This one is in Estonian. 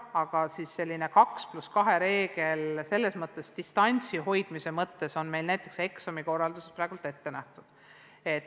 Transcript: Aga 2 + 2 reegel distantsi hoidmise mõttes on meil näiteks eksamikorralduses praegu ette nähtud.